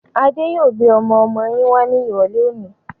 Adé yòó gbé ọmọ-ọmọ yín wá ní irọ̀lẹ́ òní.